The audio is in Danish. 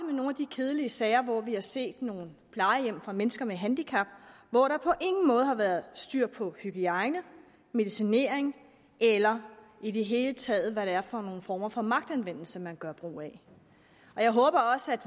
nogle af de kedelige sager hvor vi har set nogle plejehjem for mennesker med handicap hvor der på ingen måde har været styr på hygiejne medicinering eller i det hele taget på hvad det er for nogle former for magtanvendelse man gør brug af jeg håber også at